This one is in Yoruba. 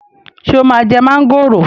Ṣé o máa jẹ mọ́ngòrò